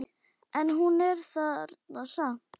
En hún er þarna samt.